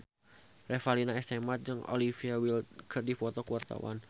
Revalina S. Temat jeung Olivia Wilde keur dipoto ku wartawan